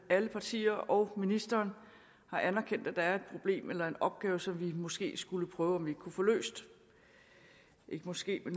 at alle partier og ministeren har anerkendt at der er et problem eller en opgave som vi måske skulle prøve om vi ikke kunne få løst ikke måske